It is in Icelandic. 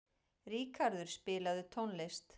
Ríkarður, spilaðu tónlist.